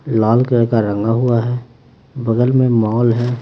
लाल colour का रंगा हुआ है बगल में मॉल है।